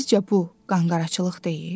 Sizcə bu qanqaraçılıq deyil?